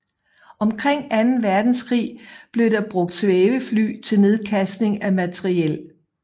Omkring anden verdenskrig blev der brugt svævefly til nedkastning af materiel